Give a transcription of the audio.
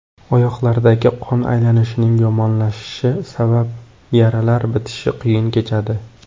Oyoqlardagi qon aylanishining yomonlashishi sabab yaralar bitishi qiyin kechadi.